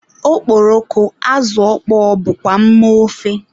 Okporoko, azụ ọkpọọ wdg bụkwa mma ofe.